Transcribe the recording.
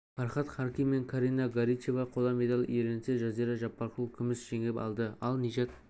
фархад харки мен карина горичева қола медаль иеленсе жазира жаппарқұл күміс жеңіп алды ал нижат